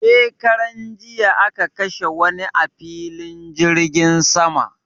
shekaran jiya aka kashe wani a filin jirgin sama